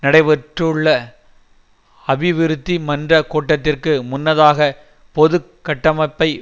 நடைபெறவுள்ள அபிவிருத்தி மன்ற கூட்டத்திற்கு முன்னதாக பொது கட்டமைப்பை